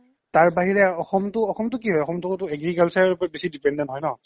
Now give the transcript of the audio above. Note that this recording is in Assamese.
তাৰ বাহিৰে অসমটো অসমটো কি হয় অসমটো অটো agriculture ৰ ওপৰত বেছি depend হয় ন